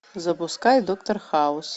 запускай доктор хаус